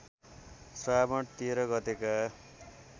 श्रावण १३ गतेका